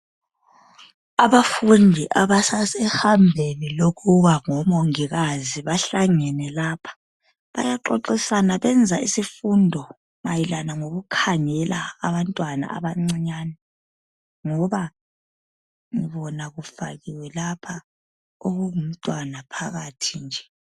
Abafundi abasasehambeni lokuba ngomongikazi bahlangene lapha. Bayaxoxisana bayenza isifundo mayelana ngokukhangela abantwana abancinyane ngoba ngibona kufakiwe lapha okungumntwana phakhathi nje.